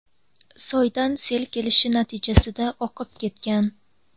soydan sel kelishi natijasida oqib ketgan.